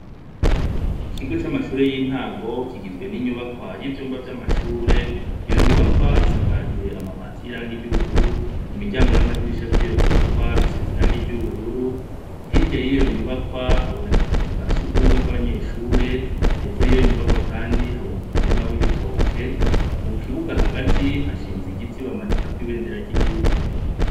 Ikigo c'amashure y'intango kigizwe n'inyubakwa y’ivyumba vy'amashure, iyo nyubakwa isakajwe amabati y'irangi ry'ubururu i miryango n'amadirisha vy'iyo nyubakwa biseze irangi ry'ubururu, hirya y'iyo nyubakwa haboneka akazu ka sugumwe k'abanyeshure heko yiyo nyubakwa, kandi haboneka umurima w'ibitoke, mu kibuga hagati hashinze igiti bamanikako ibendera ry'igihugu.